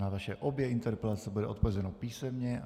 Na vaše obě interpelace bude odpovězeno písemně.